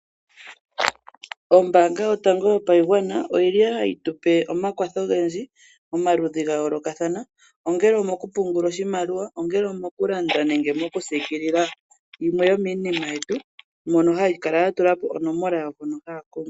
Ombanga yotango yopashigwana oyili hayi tupe omakwatho ogendji omaludhi gayoolokathana ongele omokupungula oshimaliwa, ongele omokulanda nenge mokusiikilila yimwe yomiinima yetu mono hayi kala yatulapo onomola yawo mpono haya kongwa.